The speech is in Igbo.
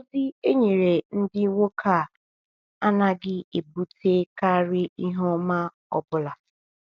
.Ozi e nyere ndị nwoke a anaghị ebutekarị ihe ọma ọ bụla.